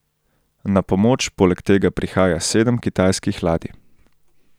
Na pomoč poleg tega prihaja sedem kitajskih ladij.